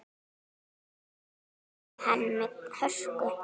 Það gerði hann með hörku.